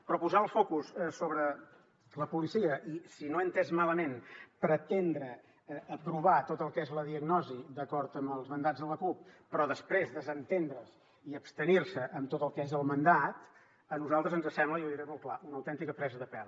però posar el focus sobre la policia i si no ho he entès malament pretendre aprovar tot el que és la diagnosi d’acord amb els mandats de la cup però després desentendre se’n i abstenir s’hi en tot el que és el mandat a nosaltres ens sembla i ho diré molt clar una autèntica presa de pèl